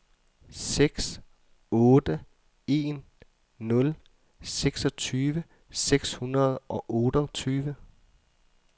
seks otte en nul seksogtyve seks hundrede og otteogtyve